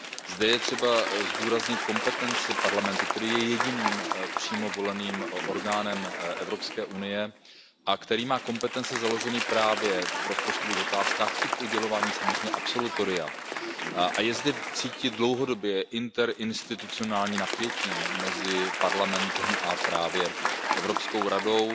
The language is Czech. Zde je třeba zdůraznit kompetenci Parlamentu, který je jediným přímo voleným orgánem Evropské unie a který má kompetence právě v rozpočtových otázkách i k udělování samozřejmě absolutoria. A je zde cítit dlouhodobě interinstitucionální napětí mezi Parlamentem a právě Evropskou radou